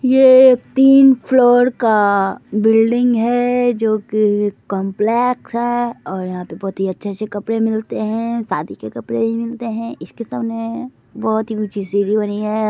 ये तीन फ्लोर का बिल्डिंग है जो कि कॉम्प्लेक्स है और यहाँ पर बोहोत ही अच्छे-अच्छे कपडे मिलते है शादी के कपड़े भी मिलते है इसके सामने बोहोत ही ऊँची सीढ़ी बनी है।